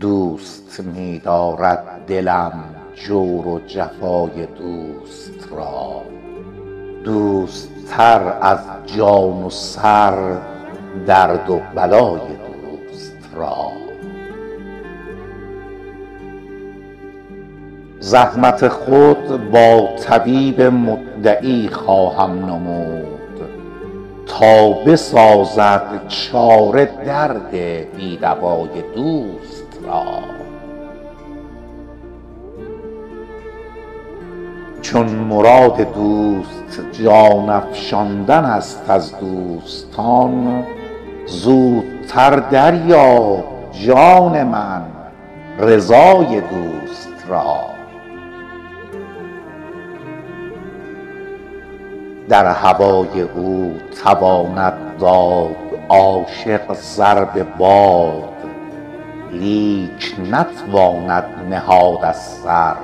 دوست می دارد دلم جور و جفای دوست را دوست تر از جان و سر درد و بلای دوست را زحمت خود با طبیب مدعی خواهم نمود تا بسازد چاره درد بی دوای دوست را چون مراد دوست جان افشاندن است از دوستان زودتر دریاب جان من رضای دوست را در هوای او تواند داد عاشق سر به باد لیک نتواند نهاد از سر